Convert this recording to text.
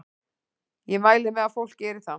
Ég mæli með að fólk geri það.